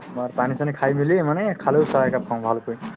মই পানী চানী খাই মিলি মানে খালি পেটত চাহ একাপ খাওঁ ভালকৈ